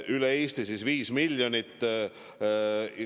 Üle Eesti eraldatakse 5 miljonit eurot.